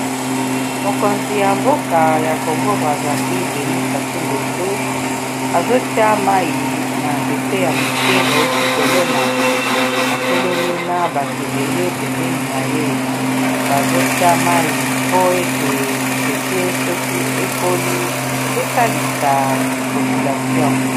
Mokonzi ya mboka ya congo Brazzaville Denis Sasungesu azotia mai na nzete ya moke, bauti kolona atelemi na bato ebele pembeni na ye bazotia mai po ete nzete soki ekoli esalisa population.